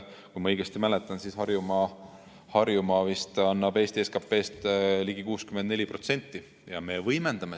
Kui ma õigesti mäletan, siis Harjumaa vist annab Eesti SKP‑st ligi 64%.